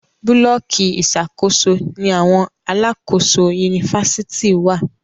Búlọ̀kì Ìṣàkóso ní àwọn alákòóso Yunifásitìni wá